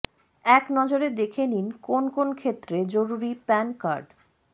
এক নজরে দেখে নিন কোন কোন ক্ষেত্রে জরুরি প্যান কার্ড